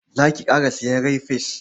Za ki ƙara sayen rai-fes?